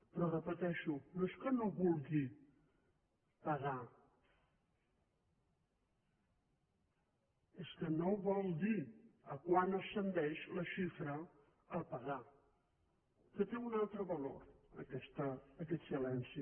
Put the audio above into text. però ho repeteixo no és que no vulgui pagar és que no vol dir a quant ascendeix la xifra a pagar que té un altre valor aquest silenci